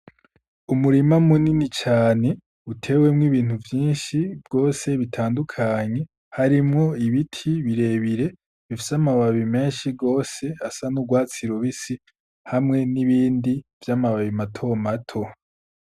Umurima munini cane utewemwo ibintu vyinshi bwose bitandukanye harimwo ibiti birebire bifise amababi menshi gwose asa n'urwatsi rubisi hamwe n'ibindi vy'amababi mato mato.